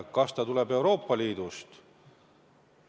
Kas see raha tuleb Euroopa Liidust?